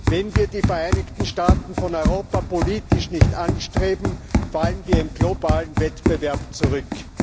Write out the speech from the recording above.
Wenn wir die Vereinigten Staaten von Europa politisch nicht anstreben, fallen wir im globalen Wettbewerb zurück.